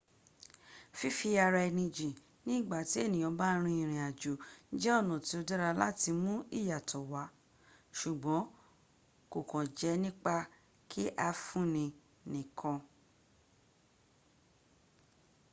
fífí-ara-ẹni-jìn ní ìgbà tí ènìyàn bá ń rin ìrìn àjò jẹ́ ọ̀nà tí ó dára láti mú ìyàtọ̀ wà ṣùgbọn kòkàn jẹ́ nípa kí a fún-ni nìkan